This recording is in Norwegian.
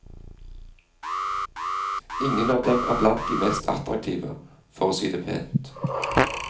Ingen av dem er blant de mest attraktive, for å si det pent.